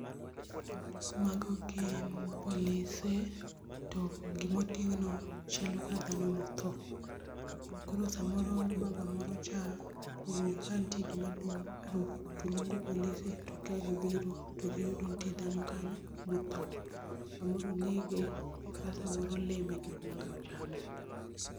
Mago gin polise to gima oting'no chalo ka dhano mothoo. Koro samoro baba moro cha owinjo ka nitie gima dum, arufu, toluongo polise to kagibiro to giyudo ka nitie dhano kanyo mothoo, samoro onege, kata samoro lee mek bunge ochame.